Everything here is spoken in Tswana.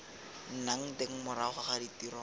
nnang teng morago ga tiro